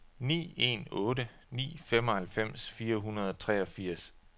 ni en otte ni femoghalvfems fire hundrede og treogfirs